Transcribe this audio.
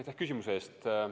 Aitäh küsimuse eest!